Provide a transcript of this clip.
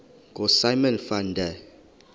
ngosimon van der